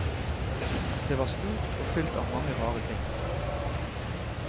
Det var stort og fylt av mange rare ting.